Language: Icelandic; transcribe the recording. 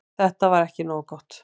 Þetta var ekki nógu gott.